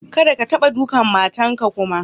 Kadda ka taba ɗukan matan ka kuma.